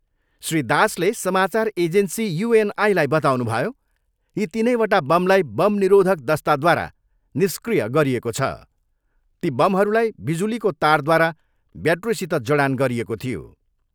श्री दासले समाचार एजेन्सी युएनआईलाई बताउनुभयो, यी तिनैवटा बमलाई बम निरोधक दस्ताद्वारा निष्क्रिय गरिएको छ, ती बमहरूलाई बिजुलीको तारद्वारा ब्याट्रीसित जडान गरिएको थियो।